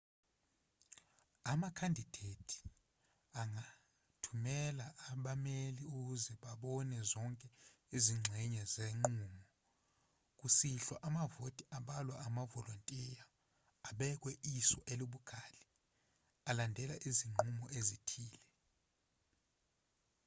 amakhandidethi angathumela abameli ukuze babone zonke izingxenye zenqubo kusihlwa amavoti abalwa amavolontiya abekwe iso elibukhali alandela izinqubo ezithile